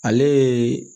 Ale ye